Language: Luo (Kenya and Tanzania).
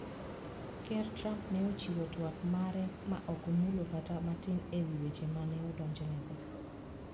Ker Trump ne ochiwo twak mare ma ok omulo kata matin e wi weche ma ne odonjnego